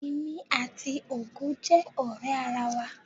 Èmi àti Ògo jẹ́ ọ̀rẹ́ ara wa.